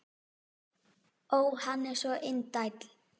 Ó, hann er svo indæll!